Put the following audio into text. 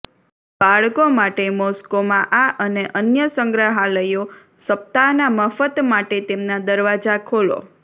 બાળકો માટે મોસ્કોમાં આ અને અન્ય સંગ્રહાલયો સપ્તાહના મફત માટે તેમના દરવાજા ખોલો